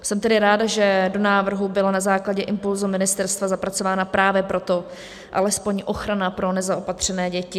Jsem tedy ráda, že do návrhu byla na základě impulzu ministerstva zapracována právě proto alespoň ochrana pro nezaopatřené děti.